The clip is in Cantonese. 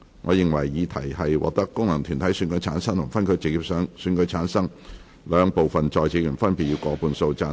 我認為議題獲得經由功能團體選舉產生及分區直接選舉產生的兩部分在席議員，分別以過半數贊成。